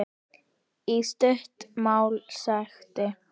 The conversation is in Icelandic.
Í stuttu máli sagt.